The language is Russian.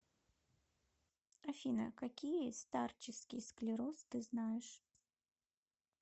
афина какие старческий склероз ты знаешь